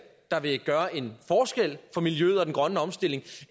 der vil gøre en forskel for miljøet og den grønne omstilling